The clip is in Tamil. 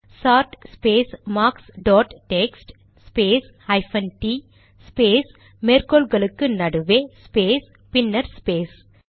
chart space marks dot text space hyphen டிt ஸ்பேஸ் மேற்கோள் குறிகளுக்கு நடுவே ஸ்பேஸ் பின்னர் ஸ்பேஸ்